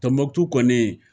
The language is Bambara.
Tɔnbɔkutu kɔni